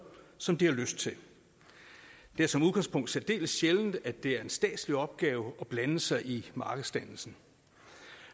som de har lyst til det er som udgangspunkt særdeles sjældent at det er en statslig opgave at blande sig i markedsdannelsen